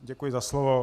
Děkuji za slovo.